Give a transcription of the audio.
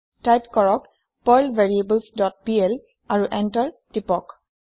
type কৰক Perl variables dot PL আৰু enter press কৰক